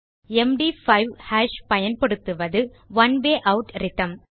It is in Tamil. எம்டி5 ஹாஷ் பயன்படுத்துவது ஒனே வே ஆட் ரித்ம்